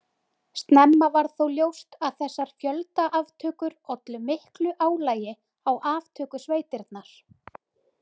Snemma varð þó ljóst að þessar fjöldaaftökur ollu miklu álagi á aftökusveitirnar.